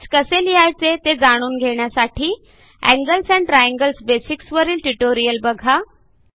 text कसे लिहायचे ते जाणून घेण्यासाठी एंगल्स एंड ट्रायंगल्स बेसिक्स वरील ट्युटोरियल बघा